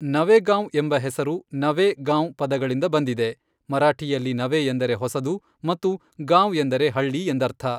ನವೇಗಾಂವ್ ಎಂಬ ಹೆಸರು ನವೆ ಗಾಂವ್ ಪದಗಳಿಂದ ಬಂದಿದೆ, ಮರಾಠಿಯಲ್ಲಿ ನವೆ ಎಂದರೆ ಹೊಸದು ಮತ್ತು ಗಾಂವ್ ಎಂದರೆ ಹಳ್ಳಿ ಎಂದರ್ಥ.